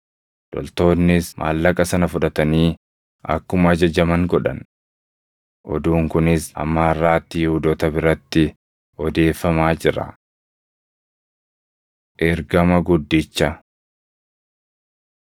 Loltoonnis maallaqa sana fudhatanii akkuma ajajaman godhan. Oduun kunis hamma harʼaatti Yihuudoota biratti odeeffamaa jira. Ergama Guddicha